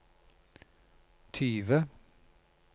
tyve